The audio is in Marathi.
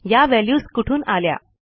या व्हॅल्यूज कुठून आल्या